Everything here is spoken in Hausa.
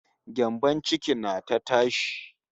Gyambon ciki na ta tashi